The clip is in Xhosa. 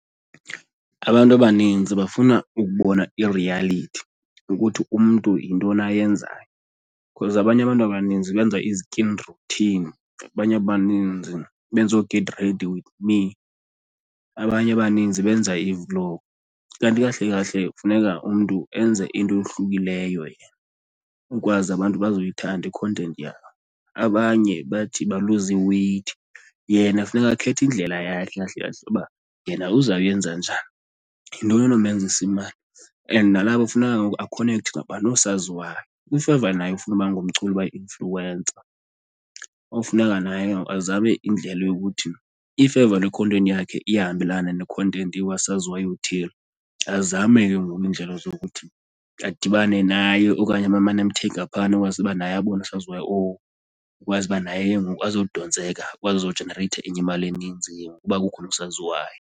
Abantu abanintsi bafuna ukubona i-reality yokuthi umntu yintoni ayenzayo because abanye abantu abaninzi benza ii-skin routine abanye abaninzi benza oo-get ready with me, abanye abaninzi benza i-vlog. Kanti kahle kahle kufuneka umntu enze into eyohlukileyo yena kukwazi abantu bazoyithatha i-content yakhe. Abanye bathi baluza i-weight, yena funeka akhethe indlela yakhe kahle kahle uba yena uzawuyenza njani. Yintoni enomenzisa imali? And nalapho kufuneka kengoku akhonekkthe nabanye oosaziwayo. If ever naye ufuna uba ngumculi, uba yi-influencer, kofuneka naye kengoku azame indlela yokuthi if ever le content yakhe iyahambelana ne-content yokasaziwayo uthile, azame ke ngoku iindlela zokuthi adibane naye. Okanye abe emane emthega phaana akwazi uba naye abonwe ngusaziwayo owo kwazi uba naye ke ngoku azodontseka akwazi ukuzojenereyitha enye imali eninzi ke ngoku kuba kukhona usaziwayo.